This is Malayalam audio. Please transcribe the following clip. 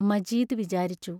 മജീദ് വിചാരിച്ചു.